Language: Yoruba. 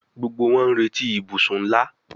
Gbógbó wón n'reti ibusùn nlá